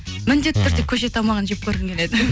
міндетті түрде көше тамағын жеп көргім келеді